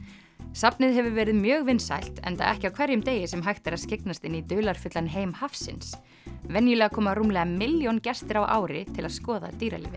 safnið hefur verið mjög vinsælt enda ekki á hverjum degi sem hægt er að skyggnast inn í dularfullan heim hafsins venjulega koma rúmlega milljón gestir á ári til að skoða dýralífið